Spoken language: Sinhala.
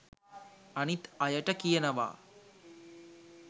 අනිත් අයට කියනවා